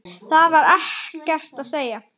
Það var ekkert að segja.